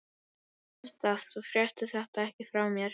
Þú manst það, að þú fréttir þetta ekki frá mér.